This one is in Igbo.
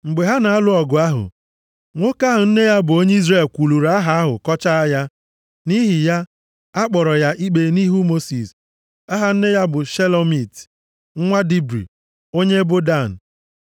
Mgbe ha na-alụ ọgụ ahụ nwoke ahụ nne ya bụ onye Izrel kwuluru Aha ahụ kọchaa ya. Nʼihi ya, a kpọrọ ya ikpe nʼihu Mosis. (Aha nne ya bụ Shelomit, nwa Dibri, onye ebo Dan.)